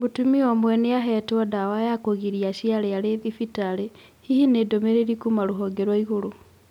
Mũtumia ũmwe nĩ aheetwo ndawa ya kũgiria aciare arĩ thibitarĩ. Hihi nĩ ndũmĩrĩri kuuma rũhonge rwa igũrũ.